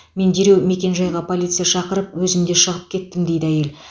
мен дереу мекенжайға полиция шақырып өзім де шығып кеттім дейді әйел